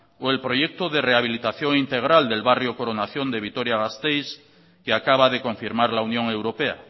o el proyecto de rehabilitación integral del barrio coronación de vitoria gasteiz que acaba de confirmar la unión europea